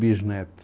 Bisnetos